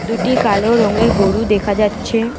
দুটি কালো রঙের গরু দেখা যাচ্ছে।